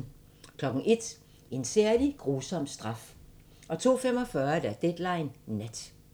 01:00: En særlig grusom straf 02:45: Deadline Nat